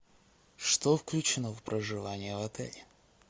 что включено в проживание в отеле